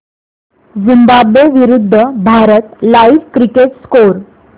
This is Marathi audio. झिम्बाब्वे विरूद्ध भारत लाइव्ह क्रिकेट स्कोर